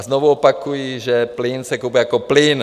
A znovu opakuji, že plyn se kupuje jako plyn.